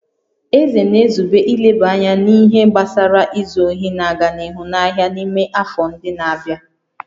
Eze na-ezube ileba anya n'ihe gbasara izu ohi na-aga n'ihu n'ahịa n'ime afọ ndị na-abịa